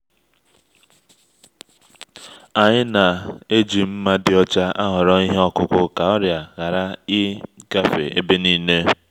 anyị na-eji nma dị ọcha ahoro ihe okuku ka ọrịa hari e-gafe ebe-ninee